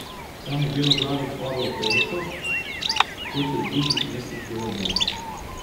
Tam je beloglavih orlov toliko, kot je v drugih mestih golobov.